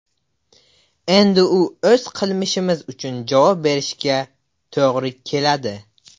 Endi u o‘z qilmishi uchun javob berishiga to‘g‘ri keladi.